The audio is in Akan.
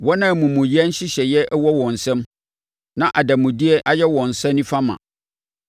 wɔn a amumuyɛ nhyehyɛeɛ wɔ wɔn nsam na adanmudeɛ ayɛ wɔn nsa nifa ma.